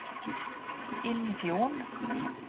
Innfjorden